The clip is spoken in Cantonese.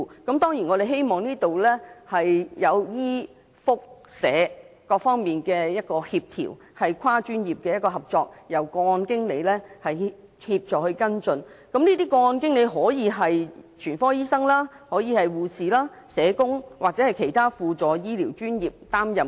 當然，就此我們希望可協調醫、福、社各方面，進行跨專業合作，再由個案經理協助跟進，而個案經理可以由全科醫生、護士、社工或其他輔助醫療專業人員擔任。